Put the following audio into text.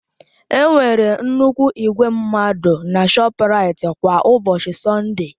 Enwere nnukwu igwe mmadụ na ShọpRait kwa ụbọchị Sọnde.